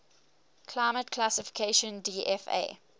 climate classification dfa